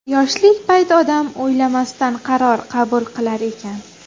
Yoshlik payti odam o‘ylamasdan qaror qabul qilar ekan.